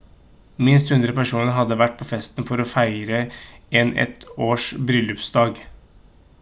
minst 100 personer hadde vært på festen for å feire en et års bryllupsdag